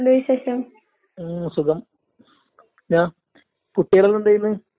എന്ത് പരിപാടി? ഇപ്പോ ഒരു പരിപാടിയൊന്നും ആയില്ല. പരിപാടിക്ക് നോക്കിക്കൊണ്ടിരിക്ക്ന്ന്.